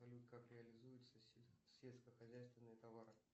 салют как реализуются сельскохозяйственные товары